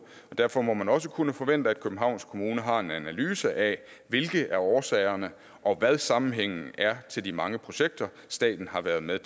og derfor må man også kunne forvente at københavns kommune har en analyse af hvilke af årsagerne og hvad sammenhængen er til de mange projekter staten har været med